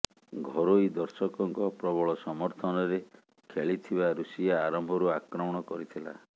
ଘରୋଇ ଦର୍ଶକଙ୍କ ପ୍ରବଳ ସମର୍ଥନରେ ଖେଳିଥିବା ରୁଷିଆ ଆରମ୍ଭରୁ ଆକ୍ରମଣ କରିଥିଲା